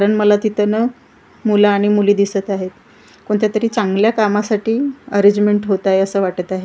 कारण मला तिथे ना मुलं आणि मुली दिसत आहेत कोणत्यातरी चांगल्या कामासाठी अरेंजमेंट होत आहे असं वाटत आहे.